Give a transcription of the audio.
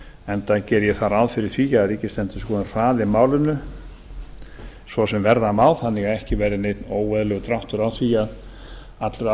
enda geri ég þá ráð fyrir því að ríkisendurskoðun hraði málinu svo sem verða má þannig að ekki verði neinn óeðlilegur dráttur á því að allur